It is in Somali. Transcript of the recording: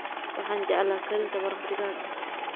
Waxaan jeclaa karinta maraq digaaga.